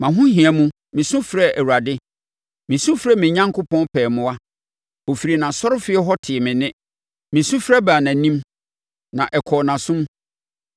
Mʼahohia mu, mesu mefrɛɛ Awurade. Mesu mefrɛɛ me Onyankopɔn pɛɛ mmoa. Ɔfiri nʼasɔrefie hɔ tee me nne; me sufrɛ baa nʼanim, na ɛkɔɔ nʼasom.